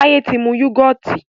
Taye tí mú yugọti